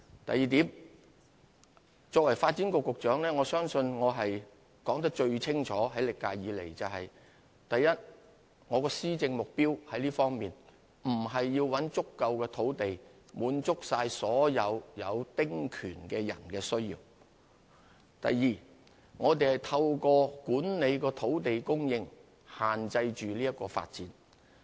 第二，作為發展局局長，我相信我在歷屆以來說得最清楚，就是：第一，我們的施政目標並不是要尋找足夠土地以滿足所有丁權擁有人的需要；第二，我們透過管理土地供應，限制這項發展。